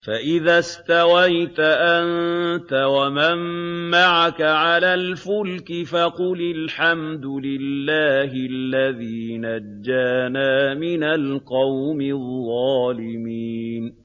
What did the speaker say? فَإِذَا اسْتَوَيْتَ أَنتَ وَمَن مَّعَكَ عَلَى الْفُلْكِ فَقُلِ الْحَمْدُ لِلَّهِ الَّذِي نَجَّانَا مِنَ الْقَوْمِ الظَّالِمِينَ